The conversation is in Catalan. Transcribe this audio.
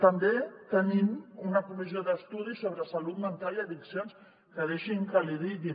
també tenim una comissió d’estudi sobre salut mental i addiccions que deixi’m que l’hi digui